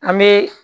An bɛ